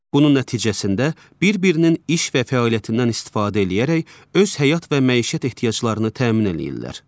Bunun nəticəsində bir-birinin iş və fəaliyyətindən istifadə eləyərək öz həyat və məişət ehtiyaclarını təmin eləyirlər.